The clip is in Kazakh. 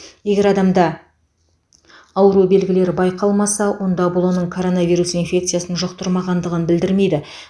егер адамда ауру белгілері байқалмаса онда бұл оның коронавирус инфекциясын жұқтырмағандығын білдірмейді